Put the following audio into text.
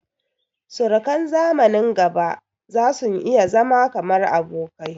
Surukan zamanin gaba zasun iya zama kamar abokai